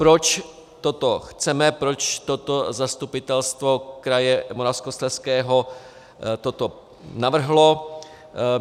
Proč toto chceme, proč toto zastupitelstvo kraje Moravskoslezského toto navrhlo.